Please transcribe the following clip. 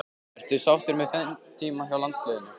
Ertu sáttur með þinn tíma hjá landsliðinu?